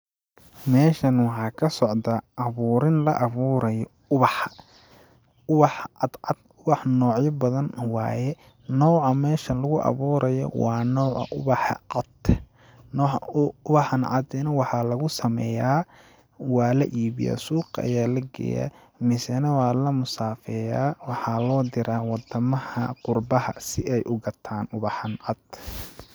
Meeshan waxaa ka socdaa ,abuurin la abuurayo uwaxa, uwaxa cad cad ,uwaxa noocya badan ,nooca meeshan lagu awuurayo waa nooca uwaxa cad ,nooca uwaxan cadi na waxaa lagu sameyaa ,waa la iibiyaa ,suuqa ayaa la geeyaa mase na waa la musafeyaa, waxaa loo diraa wadamaha qurbaha si ay u gataan uwaxan cad.